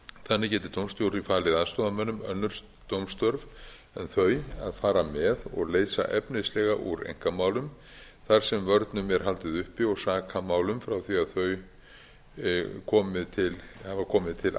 þannig geti dómstjóri falið aðstoðarmönnum önnur dómstörf en þau að fara með og leysa efnislega úr einkamálum þar sem vörnum er haldið uppi og sakamálum frá því að þau hafa komið til